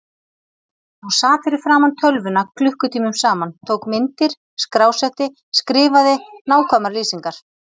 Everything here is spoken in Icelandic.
Hún sat fyrir framan tölvuna klukkutímum saman, tók myndir, skrásetti, skrifaði nákvæmar lýsingar.